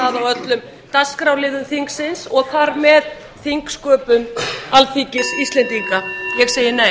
á öllum dagskrárliðum þingsins og þar með þingsköpum alþingis íslendinga ég segi nei